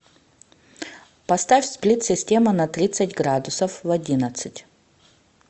поставь сплит система на тридцать градусов в одиннадцать